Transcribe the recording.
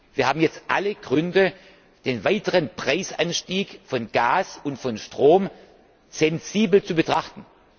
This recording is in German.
Wir haben jetzt alle Gründe, den weiteren Preisanstieg von Gas und Strom sensibel zu betrachten.